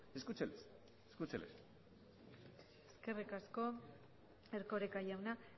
escúcheles escúcheles eskerrik asko erkoreka jauna